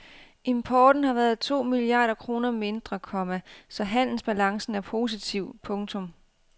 Importen har været to milliarder kroner mindre, komma så handelsbalancen er positiv. punktum